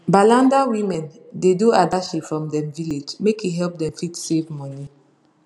balanda women da do adashi for dem village make e help them fit save money